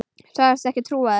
Sagðist ekki trúa mér.